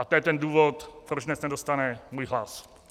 A to je ten důvod, proč dnes nedostane můj hlas.